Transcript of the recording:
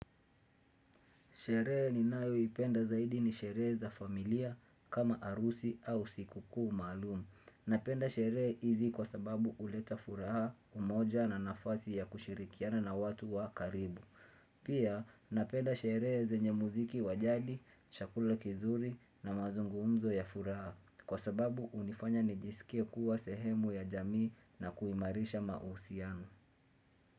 Sherehe ninayoipenda zaidi ni sherehe za familia kama arusi au sikukuu maalum. Napenda sherehe izi kwa sababu uleta furaha umoja na nafasi ya kushirikiana na watu wa karibu. Pia napenda sherehe zenye muziki wa jadi, shakula kizuri na mazungumzo ya furaha kwa sababu unifanya nijisikie kuwa sehemu ya jamii na kuimarisha mausiano.